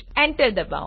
enter ડબાઓ